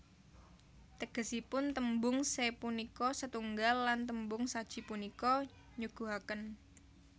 Tegesipun tembung se punika setunggal lan tembung saji punika nyuguhaken